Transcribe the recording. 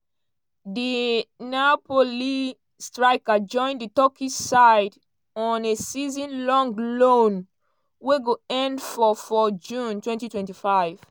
di napoli striker join di turkish side on a season-long loan wey go end for for june 2025.